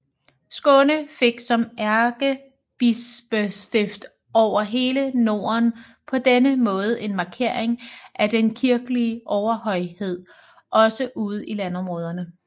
Skåne fik som ærkebispestift over hele Norden på denne måde en markering af den kirkelige overhøjhed også ude i landområderne